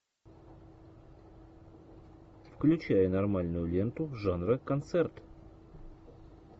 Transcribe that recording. включай нормальную ленту жанра концерт